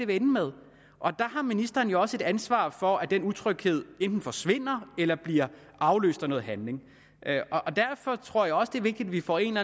vil ende med der har ministeren jo også et ansvar for at den utryghed enten forsvinder eller bliver afløst af noget handling derfor tror jeg også det er vigtigt at vi får en